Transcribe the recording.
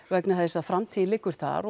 vegna þess að framtíðin liggur þar